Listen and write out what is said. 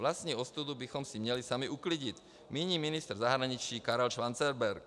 Vlastní ostudu bychom si měli sami uklidit, míní ministr zahraničí Karel Schwarzenberg.